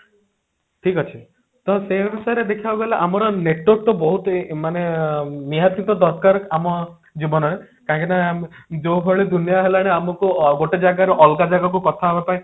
ଠିକ ଅଛି ତ ସେଇ ଆନୁସରେ ଦେଖିବାକୁ ଗଲେ ଆମର network ତ ବହୁତ ଏ ମାନେ ନିହାତି ତ ଦରକାର ଆମ ଜୀବନ ରେ କାହିଁକି ନା ଯୋଉ ଭଳି ଦୁନିଆ ହେଲାଣି ଆମକୁ ଗୋଟେ ଜାଗରୁ ଅଲଗା ଜାଗାକୁ କଥା ହେବା ପାଇଁ